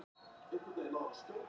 Yngvar, hvernig er veðurspáin?